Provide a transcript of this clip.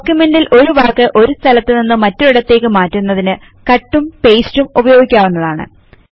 ഡോകുമെന്റിൽ ഒരു വാക്ക് ഒരു സ്ഥലത്തുനിന്നു മറ്റൊരിടത്തേക് മാറ്റുന്നതിന് കട്ട് ഉം pasteഉം ഉപയോഗിക്കാവുന്നതാണ്